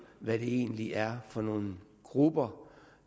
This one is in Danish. hvad det egentlig er for nogle grupper